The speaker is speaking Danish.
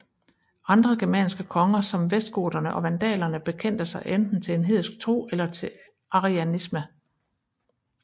Andre germanske konger som vestgoterne og vandalerne bekendte sig enten til en hedensk tro eller til arianisme